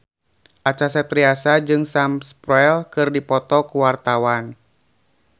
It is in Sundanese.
Acha Septriasa jeung Sam Spruell keur dipoto ku wartawan